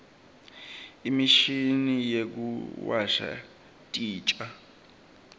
imishini yekuwasha titja